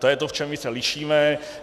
To je to, v čem my se lišíme.